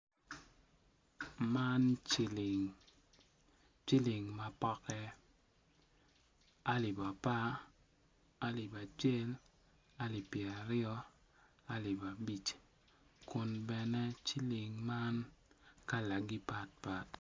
Man ciling ciling ma poke alip apar, alip acel, alip pyeraryo, alip abic kun bene ciling man kalagi pat pat.